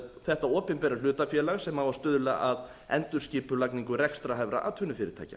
þetta opinbera hlutafélag sem á að stuðla að endurskipulagningu rekstrarhæfra atvinnufyrirtækja